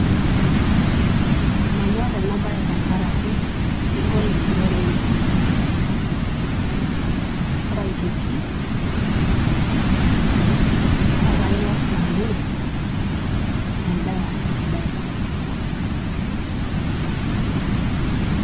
Mmanyorr Ena baye tenkaraki kegol enturore enye oleng. Ore aitoki enndaa sidai.